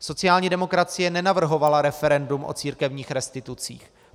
Sociální demokracie nenavrhovala referendum o církevních restitucích.